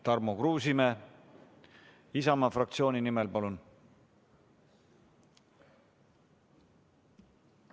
Tarmo Kruusimäe Isamaa fraktsiooni nimel, palun!